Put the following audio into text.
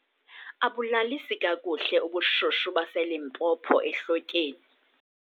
Abulalisi kakuhle ubushushu baseLimpopo ehlotyeni.